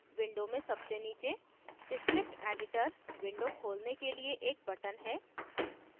window में सबसे नीचे script editor window खोलने के लिए एक button है